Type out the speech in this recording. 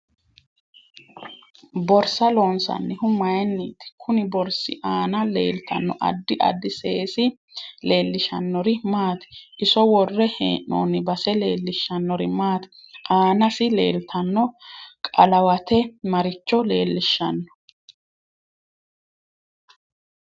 Borsa loonsanihu mayiiniti kunni borsi aana leeltanno addi addi seesi leelishanori maati iso worre heenooni base leelishanori maati aanasi leeltanno qalawate maricho leelishanno